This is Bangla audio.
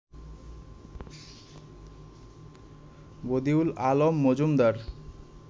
বদিউল আলম মজুমদার